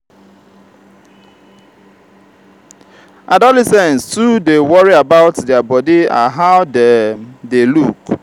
adolescents too dey worry about their bodi and how dem dey look.